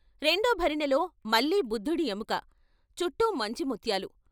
రెండో భరిణెలో మళ్ళీ బుద్ధుడి ఎముక, చుట్టూ మంచి ముత్యాలు.